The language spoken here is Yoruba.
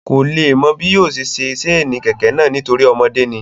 Kò le mọ bí yóò ṣe ṣe sénì kẹ̀kẹ́ náà nítorí ọmọdé ni